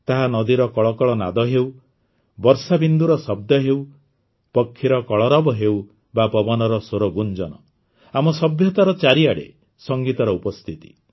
ତାହା ନଦୀର କଳକଳ ନାଦ ହେଉ ବର୍ଷାବିନ୍ଦୁର ଶବ୍ଦ ହେଉ ପକ୍ଷୀର କଳରବ ହେଉ ବା ପବନର ସ୍ୱରଗୁଞ୍ଜନ ଆମ ସଭ୍ୟତାରେ ଚାରିଆଡ଼େ ସଂଗୀତର ଉପସ୍ଥିତି